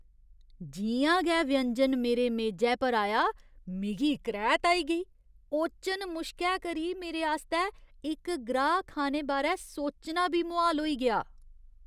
जि'यां गै व्यंजन मेरे मेजै पर आया, मिगी करैह्त आई गेई। ओचन मुश्कै करी मेरे आस्तै इक ग्राह् खाने बारै सोचना बी मुहाल होई गेआ ।